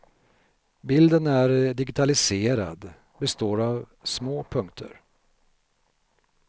Bilden är digitaliserad, består av små punkter.